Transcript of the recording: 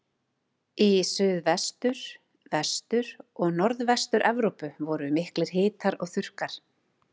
Í Suðvestur-, Vestur- og Norðvestur-Evrópu voru miklir hitar og þurrkar.